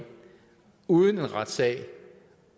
uden en retssag